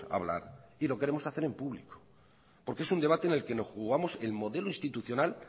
hablar y lo queremos hacer en público porque es un debate en el que nos jugamos el modelo institucional